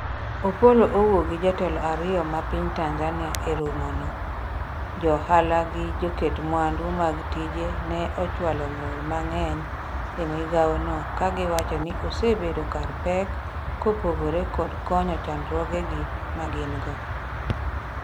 Opollo owuok gi jotelo ariyo ma piny Tanzania e romono jo ohala gi joket mwandu mag tije ne ochwalo ng'ur mang'eny e migawo no ka giwacho ni osebedo kar pek kopogore kod konyo chandruoge ma gin go